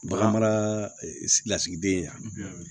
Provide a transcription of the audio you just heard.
Baganmarasigidenya